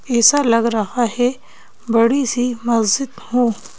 ऐसा लग रहा है बड़ी सी मस्जिद हो--